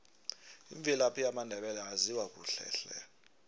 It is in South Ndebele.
imvelaphi yamandebele ayaziwa kuhle hle